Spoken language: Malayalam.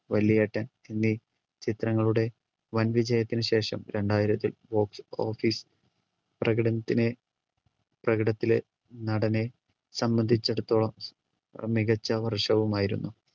വല്യേട്ടൻ എന്നീ ചിത്രങ്ങളുടെ വൻവിജയത്തിനു ശേഷം രണ്ടായിരത്തിൽ box office പ്രകടനത്തിന് പ്രകടത്തിലെ നടനെ സംബന്ധിച്ചെടുത്തോളം മികച്ച വർഷവുമായിരുന്നു